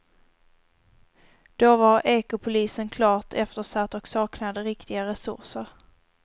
Då var ekopolisen klart eftersatt och saknade riktiga resurser.